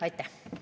Aitäh!